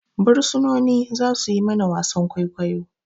Bursunoni za suyi mana wasan kwaikwayo